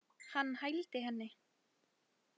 Hann hældi henni.